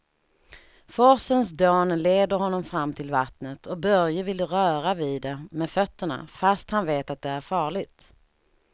Forsens dån leder honom fram till vattnet och Börje vill röra vid det med fötterna, fast han vet att det är farligt.